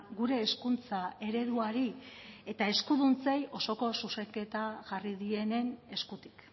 gure hezkuntza ereduari eta eskuduntzei osoko zuzenketa jarri dienen eskutik